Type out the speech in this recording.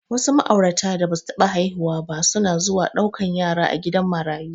Wasu ma'aurata da basu taɓa haihuwa ba suna zuwa ɗaukan yara a gidan marayu.